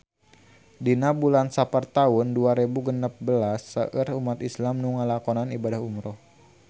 Dina bulan Sapar taun dua rebu genep belas seueur umat islam nu ngalakonan ibadah umrah